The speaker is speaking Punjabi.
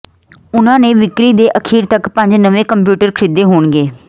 ਉਨ੍ਹਾਂ ਨੇ ਵਿਕਰੀ ਦੇ ਅਖੀਰ ਤਕ ਪੰਜ ਨਵੇਂ ਕੰਪਿਊਟਰ ਖਰੀਦੇ ਹੋਣਗੇ